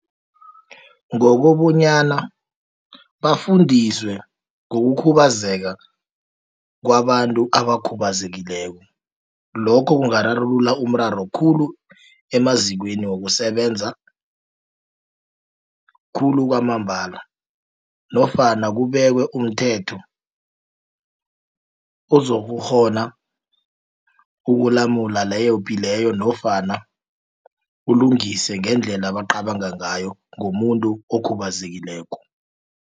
Ngokobanyana, bafundiswe ngokukhubazeka kwabantu abakhubazekileko. Lokho kungararulula umraro khulu, emazikweni wokusebenza khulu kwamambala, nofana kubekwe umthetho uzokukghona ukulamula leyopi, leyo nofana ulungise ngendlela abacabanga ngayo, ngomuntu okhubazekileko.